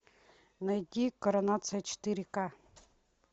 найди коронация четыре ка